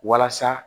Walasa